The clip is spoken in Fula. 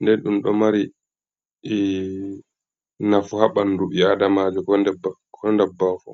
nden ɗum ɗo mari nafu ha ɓandu ɓi adamajo ko dabbawa fu.